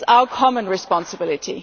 It is our common responsibility.